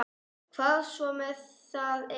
Hvað svo sem það er.